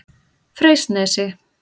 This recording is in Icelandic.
Freysnesi